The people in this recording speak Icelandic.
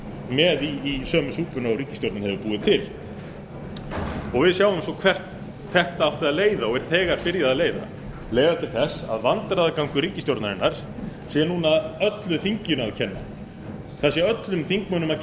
með í sömu súpuna og ríkisstjórnin hefur búið til við sjáum svo til hvert þetta átti að leiða og er þegar byrjað að leiða leiða til að vandræðagangur ríkisstjórnarinnar sé núna öllu þinginu að kenna það sé öllu þinginu að kenna hvaða stefnu ríkisstjórnin hefur